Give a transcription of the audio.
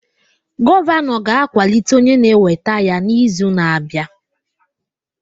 Gọvanọ ga-akwalite onye na-eweta ya n'izu na-abịa